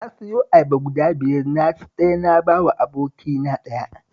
Na siyo ayaba guda biyar na ci ɗaya na ba wa abokina ɗaya